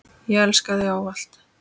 Ég elska þig ávallt.